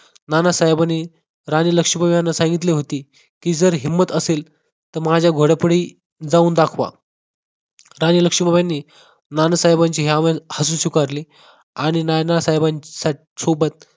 नानासाहेबांनी राणी लक्ष्मीबाई यांना सांगितले होते की, जर हिम्मत असेल तर माझ्या घोड्या पुढे जाऊन दाखवा. राणी लक्ष्मीबाईंनी नानासाहेबांची हे आवाहन हसून स्वीकारली आणि नानासाहेबांसोबत